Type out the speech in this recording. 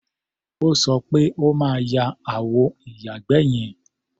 O sọ pé o máa ya àwọ ìyàgbẹ́ yẹn.